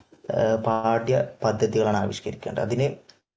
പാഠ്യപദ്ധതികളാണ് ആവിഷ്കരിക്കേണ്ടത് അതിനു